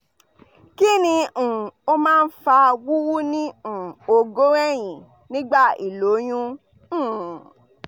kini um o ma n fa wuwu ni um ogoro eyin nigba iloyun? um